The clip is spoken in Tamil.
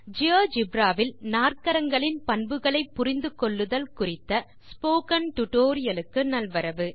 ஜியோஜெப்ரா வில் நாற்கரங்கள் பண்புகளை புரிந்தல் குறித்த இந்த பாடத்துக்கு நல்வரவு